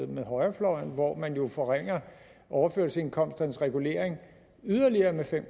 med højrefløjen hvor man jo forringede overførselsindkomsternes regulering yderligere med fem